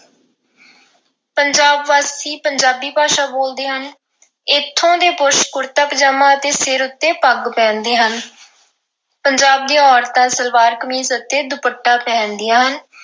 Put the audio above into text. ਪੰਜਾਬ ਵਾਸੀ ਪੰਜਾਬੀ ਭਾਸ਼ਾ ਬੋਲਦੇ ਹਨ। ਇਥੋਂ ਦੇ ਪੁਰਸ਼ ਕੁੜਤਾ ਪਜਾਮਾ ਅਤੇ ਸਿਰ ਉੱਤੇ ਪੱਗ ਪਹਿਨਦੇ ਹਨ। ਪੰਜਾਬ ਦੀਆਂ ਔਰਤਾਂ ਸਲਵਾਰ-ਕਮੀਜ਼ ਅਤੇ ਦੁਪੱਟਾ ਪਹਿਨਦੀਆਂ ਹਨ।